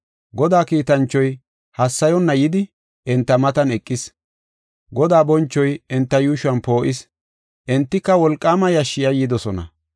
Godaa kiitanchoy hassayonna yidi enta matan eqis. Godaa bonchoy enta yuushuwan poo7is; entika wolqaama yashshi yayyidosona.